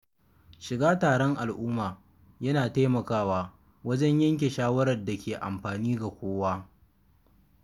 Shiga taron al'umma yana taimakawa wajen yanke shawarar da ke amfani ga kowa.